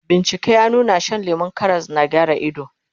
bincike ya nuna Shan lemun Karas na gyara ido